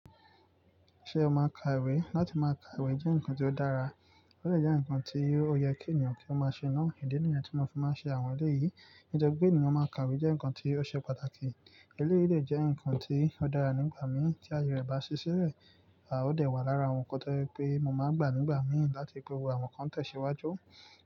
Ṣé o máa ka ìwé? Látí máa ka ìwé jẹ́ ǹkan tí ó dára, ó sì jẹ́ ǹkan tí ó yẹ kí ènìyàn kí ó máa ṣe náà. Ìdí nìyẹn tí mo fi máa ń ṣe àwọn eré yìí. Nitori ènìyàn máa ka ìwé jẹ́ ǹkan tí ó ṣe pàtàkì. Eleyìí lè jẹ́ ǹkan tí ó dára nígbà mí tí ayẹyẹ rẹ bá ṣiṣẹ́ rẹ̀, a ó lè wà lára àwọn nǹkan tó jẹ́ pé mo máa gbà nígbà mí láti ri pé owó àwọn kan tẹ̀síwájú.